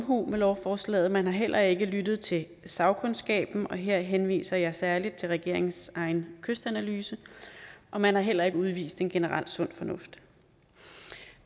omhu med lovforslaget man har heller ikke lyttet til sagkundskaben og her henviser jeg særlig til regeringens egen kystanalyse og man har heller ikke udvist en generel sund fornuft